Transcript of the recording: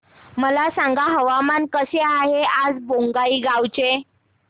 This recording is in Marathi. मला सांगा हवामान कसे आहे आज बोंगाईगांव चे